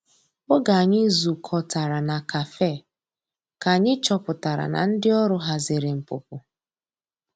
Oge anyi zu kọtara na kafe ka anyi chọpụtara na ndi ọrụ hazịrị npụpụ.